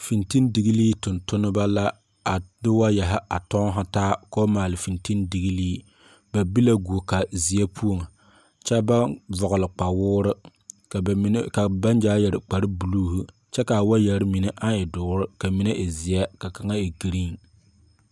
Fintindiglii tungtumba la a de waayare a tunnataa kaba maale fintindiglii ba be la guoka zeɛ pou kye bang vɔgle kpawuri bang zaa yere kpare blue kye ka a waayeri mene ang we duuri ,kye ka waayeri mene ang e zie ka mene e green.